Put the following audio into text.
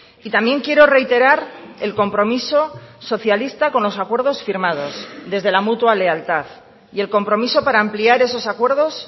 y también quiero reiterar el compromiso socialista con los acuerdos firmados desde la mutua lealtad y el compromiso para ampliar esos acuerdos